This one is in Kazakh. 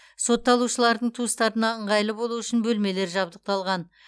сотталушылардың туыстарына ыңғайлы болу үшін бөлмелер жабдықталған